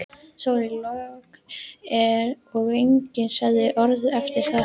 Sól, logn og enginn sagði orð eftir þetta.